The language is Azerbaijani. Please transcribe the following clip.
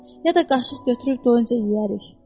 Ya da qaşıq götürüb doyuncaya yeyərik.